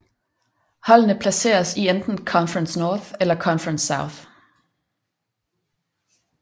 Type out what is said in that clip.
Holdene placeres i enten Conference North eller Conference South